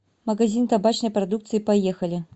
магазин табачной продукции поехали